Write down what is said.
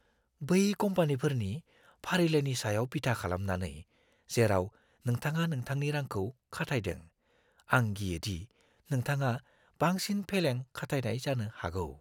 बै कम्पानिफोरनि फारिलाइनि सायाव बिथा खालामनानै, जेराव नोंथाङा नोंथांनि रांखौ खाथायदों, आं गियो दि नोंथांङा बांसिन फेलें खाथायनाय जानो हागौ।